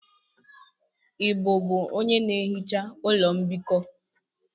Ị bụbu onye na-ehicha ụlọ mbikọ?